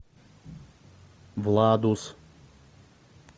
владус